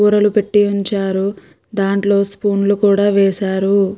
కూరలు పెట్టి ఉంచారు. దాంట్లో స్పూన్ లు కూడా వేశారు.